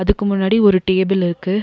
இதுக்கு முன்னாடி ஒரு டேபிள் இருக்கு.